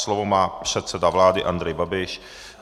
Slovo má předseda vlády Andrej Babiš.